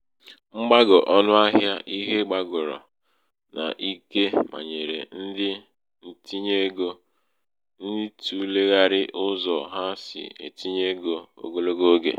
mgbago ọnụ ahịa ihe gbàgòrò n’ike mànyèrè ndị ntinyeegō ịtụ̀lèghàrị̀ ụzọ ha sì etīnyē ego ogologo ogè.